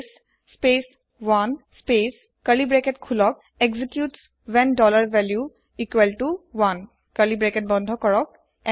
case space 1 space curly bracket খোলক executes when dollar value equal to 1 curly bracket বন্ধ কৰক